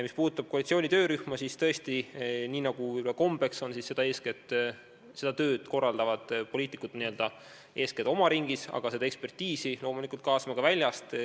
Mis puudutab koalitsiooni töörühma, siis tõesti, nagu võib-olla on kombeks, korraldavad poliitikud seda tööd eeskätt n-ö oma ringis, aga ekspertiisi kaasame loomulikult ka väljast.